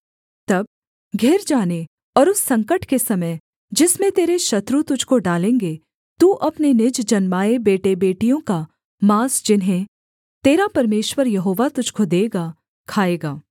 तब घिर जाने और उस संकट के समय जिसमें तेरे शत्रु तुझको डालेंगे तू अपने निज जन्माए बेटेबेटियों का माँस जिन्हें तेरा परमेश्वर यहोवा तुझको देगा खाएगा